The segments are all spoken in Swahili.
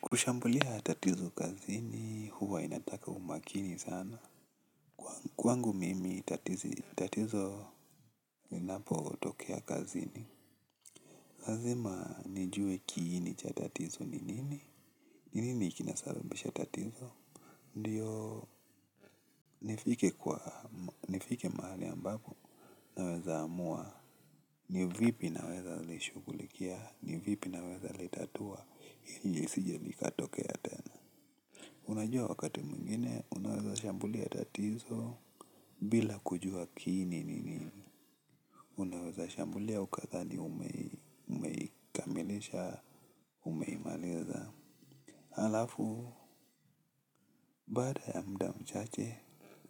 Kushambulia tatizo kazini, huwa inataka umakini sana. Kwangu mimi tatizo linapotokea kazini. Lazima nijue kiini cha tatizo ni nini? Ni nini kinasababisha tatizo? Ndio nifike mahali ambapo naweza amua. Ni vipi naweza lishugulikia? Ni vipi naweza litatua? Ili lisije likatokea tena. Unajua wakati mwingine, unaweza shambulia tatizo bila kujua kiini ni nini. Unaweza shambulia ukadhani umeikamilisha umeimaliza. Halafu, baada ya muda mchache,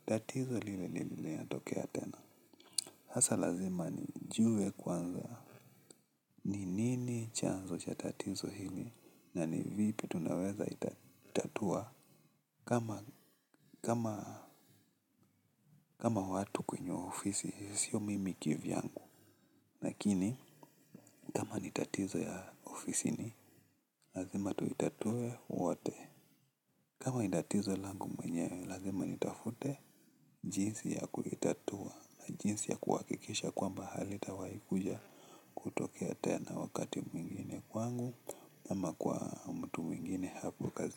tatizo lile lile linatokea tena. Hasa lazima ni jue kwanza. Ni nini chanzo cha tatizo hili na nivipi tunaweza itatua. Kama watu kwenye ofisi, sio mimi kivyangu. Nakini kama nitatizo ya ofisi ni lazima tu itatue wote. Kama ni tatizo langu mwenye, lazima nitafute jinsi ya kulitatua jinsi ya kuwakikisha kuamba halitawaikuja kutokea tena wakati mwingine kwangu. Ama kwa mwingine haku kazi.